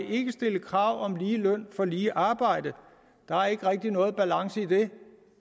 stille krav om lige løn for lige arbejde der er ikke rigtig nogen balance i det